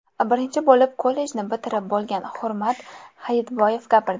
Birinchi bo‘lib kollejni bitirib bo‘lgan Hurmat Hayitboyev gapirdi.